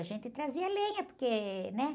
A gente trazia lenha, porque, né?